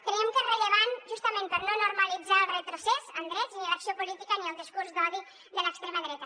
creiem que és rellevant justament per no normalitzar el retrocés en drets ni l’acció política ni el discurs d’odi de l’extrema dreta